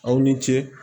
Aw ni ce